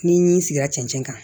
Ni n sigira cɛncɛn kan